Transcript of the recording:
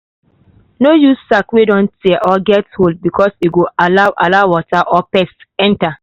no use sack wey don tear or get hole because e go allow allow water and pest enter.